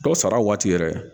Dɔw sara waati yɛrɛ